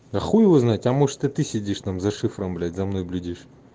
да хуй его знает а может и ты сидишь там за шифром блять за мной блюдишь